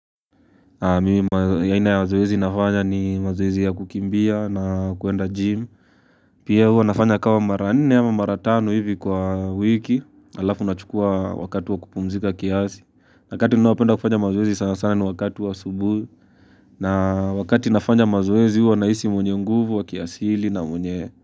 Yaina ya wazoezi nafanya ni mazoezi ya kukimbia na kuenda gym. Pia huwa nafanya kawa mara nne ama mara tano hivi kwa wiki. Alafu nachukua wakati wa kupumzika kiasi. Akati ninaopenda kufanya mazoezi sana sana ni wakati wa asubuhi na wakati nafanya mazoezi huwa nahisi mwenye nguvu wa kiasili na mwenye.